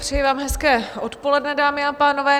Přeji vám hezké odpoledne, dámy a pánové.